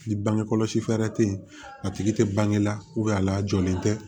Ni bange kɔlɔsi fɛɛrɛ tɛ ye a tigi tɛ bange la a lajɔlen tɛ